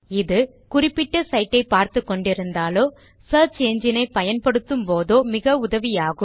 இது குறிப்பிட்ட சைட் ஐ பார்த்துக் கொண்டிருந்தாலோ சியர்ச் என்ஜின் ஐ பயன்படுத்தும் போதோ மிக உதவியாகும்